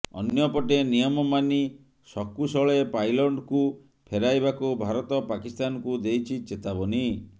ଅନ୍ୟପଟେ ନିୟମ ମାନି ସକୂଶଳେ ପାଇଲଟ୍ଙ୍କୁ ଫେରାଇବାକୁ ଭାରତ ପାକିସ୍ତାନକୁ ଦେଇଛି ଚେତାବନୀ